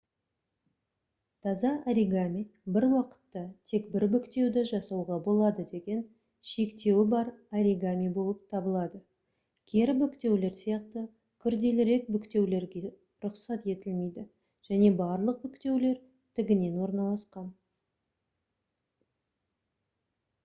таза оригами бір уақытта тек 1 бүктеуді жасауға болады деген шектеуі бар оригами болып табылады кері бүктеулер сияқты күрделірек бүктеулерге рұқсат етілмейді және барлық бүктеулер тігінен орналасқан